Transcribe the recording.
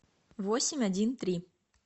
восемь один три